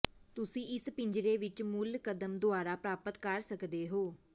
ਤੁਸੀਂ ਇਸ ਪਿੰਜਰੇ ਵਿੱਚ ਮੂਲ ਕਦਮ ਦੁਆਰਾ ਪ੍ਰਾਪਤ ਕਰ ਸਕਦੇ ਹੋ